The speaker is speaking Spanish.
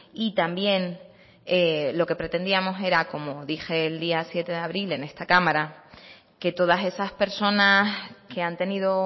y también lo que pretendíamos era como dije el día siete de abril en esta cámara que todas esas personas que han tenido